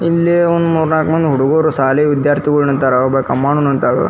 ಇಲ್ಲೇ ಒಂದ್ ಮೂರ್ನಾಕ್ ಮಂದಿ ಹುಡುಗರು ಶಾಲಿ ವಿದ್ಯಾರ್ಥಿಗಳು ನಿಂತಾರ. ಒಬ್ಬಾಕಿ ಅಮ್ಮನು ನಿಂತಾಳು.